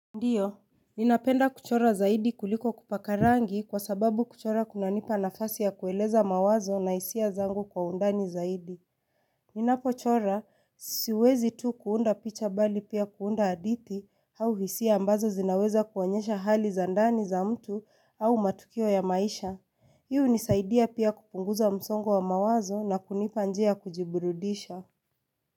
Ndiyo, ninapenda kuchora zaidi kuliko kupaka rangi kwa sababu kuchora kunanipa nafasi ya kueleza mawazo na hisia zangu kwa undani zaidi. Ninapochora, sisiwezi tu kuunda picha bali pia kuunda hadithi au hisia ambazo zinaweza kuonyesha hali za ndani za mtu au matukio ya maisha. Hii nisaidia pia kupunguza msongo wa mawazo na kunipa njia kujiburudisha.